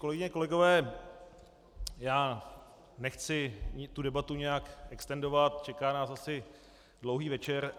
Kolegyně, kolegové, já nechci tu debatu nějak extendovat, čeká nás asi dlouhý večer.